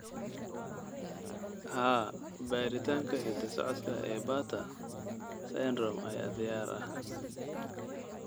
Haa, baaritaanka hidda-socodka ee Bartter syndrome ayaa diyaar ah.